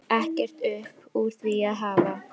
Ekkert upp úr því að hafa?